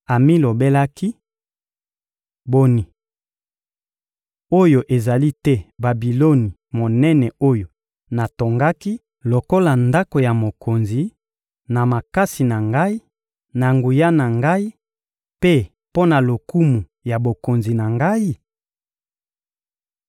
amilobelaki: «Boni! Oyo ezali te Babiloni monene oyo natongaki lokola ndako ya mokonzi, na makasi na ngai, na nguya na ngai mpe mpo na lokumu ya bokonzi na ngai?»